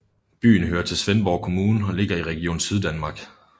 Byen hører til Svendborg Kommune og ligger i Region Syddanmark